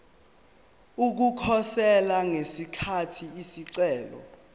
ukukhosela ngesikhathi isicelo